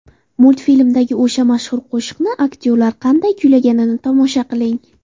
Multfilmdagi o‘sha mashhur qo‘shiqni aktyorlar qanday kuylayotganini tomosha qiling.